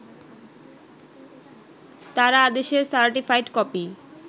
তারা আদেশের certified copy